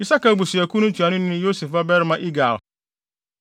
Isakar abusuakuw no ntuanoni ne Yosef babarima Igal;